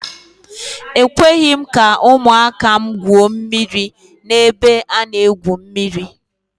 Ekweghị m ka ụmụaka m gwuo mmiri n'ebe a na-egwu mmiri.